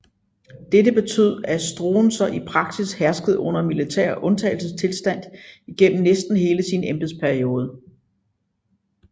Dette betød at Stroessner i praksis herskede under militær undtagelsestilstand igennem næsten hele sin embedsperiode